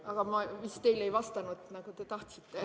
Aga ma vist ei vastanud teile, nagu te tahtsite.